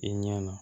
I ɲɛna